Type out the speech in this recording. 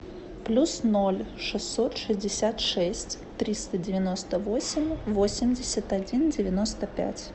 плюс ноль шестьсот шестьдесят шесть триста девяносто восемь восемьдесят один девяносто пять